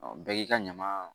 bɛɛ k'i ka ɲama